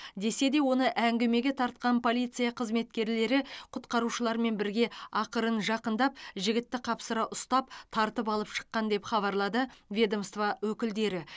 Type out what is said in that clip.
десе де оны әңгімеге тартқан полиция қызметкерлері құтқарушылармен бірге ақырын жақындап жігітті қапсыра ұстап тартып алып шыққан деп хабарлады ведомство өкілдері